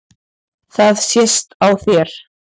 Það sést á þér